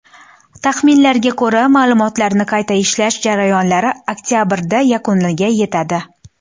Taxminlarga ko‘ra, ma’lumotlarni qayta ishlash jarayonlari oktabrda yakuniga yetadi.